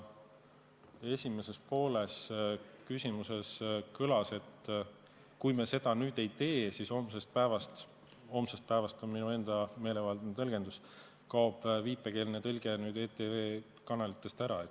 Küsimuse esimeses pooles kõlas, et kui me seda nüüd ei tee, siis homsest päevast – "homsest päevast" on minu enda meelevaldne tõlgendus – kaob viipekeeletõlge ETV kanalitest ära.